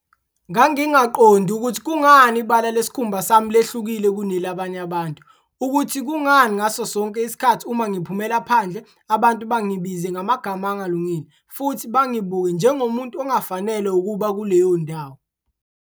"Ngangingaqondi ukuthi kungani ibala lesikhumba sami lehlukile kunelabanye abantu, ukuthi kungani ngasosonke isikhathi uma ngiphumela phandle abantu bangibize ngamagama angalungile futhi bangibuke njengomuntu ongafanelwe ukuba kuleyo ndawo."